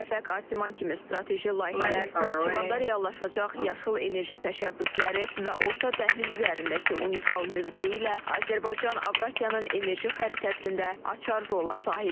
Şəfəq Asiman kimi strateji layihələr, Naxçıvanda reallaşacaq yaşıl enerji təşəbbüsləri və Orta Dəhliz üzərindəki unikal mövqeyi ilə Azərbaycan Avrasiyanın enerji xəritəsində açar rola sahibdir.